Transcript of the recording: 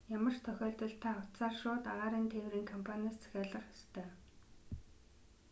ямар ч тохиолдолд та утсаар шууд агаарын тээврийн компаниас захиалах ёстой